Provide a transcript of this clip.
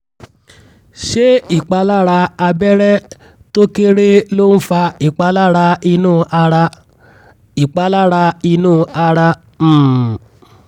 ṣé ìpalára abẹ́rẹ́ tó kéré ló ń fa ìpalára inú ara? ìpalára inú ara? um